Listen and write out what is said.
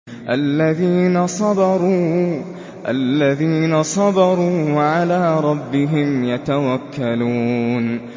الَّذِينَ صَبَرُوا وَعَلَىٰ رَبِّهِمْ يَتَوَكَّلُونَ